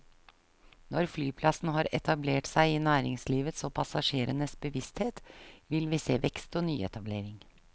Når flyplassen har etablert seg i næringslivets og passasjerenes bevissthet, vil vi se vekst og nyetablering.